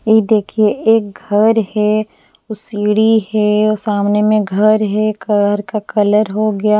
ये देखिए एक घर है सीढ़ी है सामने में घर है घर का कलर हो गया --